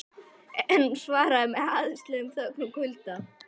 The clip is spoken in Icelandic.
En hún svaraði með háðslegri þögn og kulda.